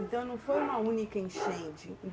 Então, não foi uma única enchente.